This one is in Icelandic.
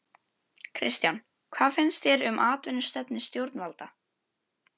Kristján: Hvað finnst þér um atvinnustefnu stjórnvalda?